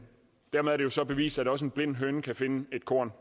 dermed er det jo så bevist at også en blind høne kan finde et korn